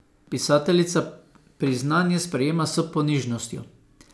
Pisateljica priznanje sprejema s ponižnostjo.